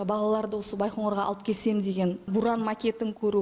балаларды осы байқоңырға алып келсем деген бұран макетін көру